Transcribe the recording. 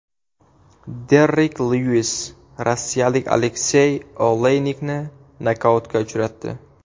Derrik Lyuis rossiyalik Aleksey Oleynikni nokautga uchratdi.